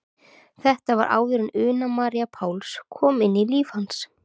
Þetta var áður en Una María Páls kom inn í líf hans.